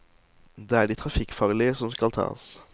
Det er de trafikkfarlige som skal tas.